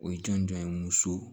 O ye jɔnjɔn ye muso